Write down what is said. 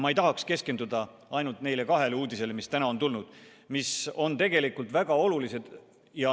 Ma ei tahaks keskenduda ainult neile kahele uudisele, mis täna tulid ja mis on tegelikult väga olulised.